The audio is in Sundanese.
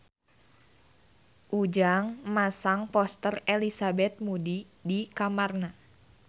Ujang masang poster Elizabeth Moody di kamarna